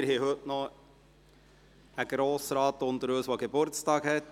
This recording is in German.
Wir haben heute noch einen Grossrat unter uns, der Geburtstag hat.